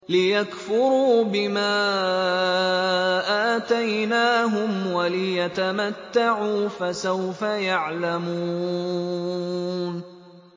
لِيَكْفُرُوا بِمَا آتَيْنَاهُمْ وَلِيَتَمَتَّعُوا ۖ فَسَوْفَ يَعْلَمُونَ